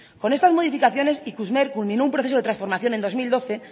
con estas modificaciones ikurmer culminó un proceso de transformación en dos mil doce